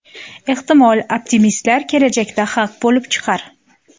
Ehtimol, optimistlar kelajakda haq bo‘lib chiqar.